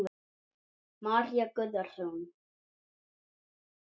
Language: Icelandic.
María Guðrún.